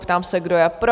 Ptám se, kdo je pro?